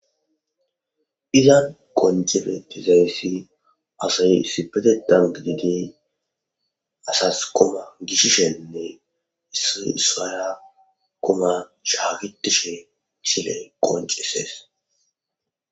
Izan qonc'i betizaysi asay issipetetan gididi asas qoluwa gishishene issoy isuwara qoluwa shaketishe missile qonc'ses.